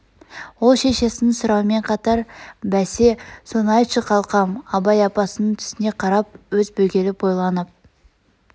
ол шешеснң сұрауымен қатар бәсе соны айтшы қалқам абай апасының түсіне қарап аз бөгеліп ойланап